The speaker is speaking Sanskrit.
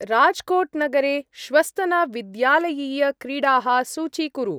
राज्कोट्-नगरे श्वस्तन-विद्यालयीय-क्रीडाः सूचीकुरु।